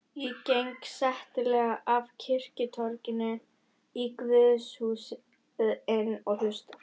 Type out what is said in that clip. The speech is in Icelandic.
Ég geng settlega af kirkjutorginu í guðshúsið inn og hlusta.